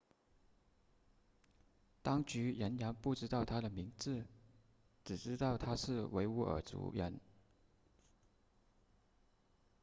当局仍然不知道他的名字只知道他是维吾尔族人